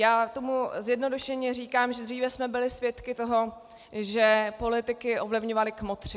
Já tomu zjednodušeně říkám, že dříve jsme byli svědky toho, že politiky ovlivňovali kmotři.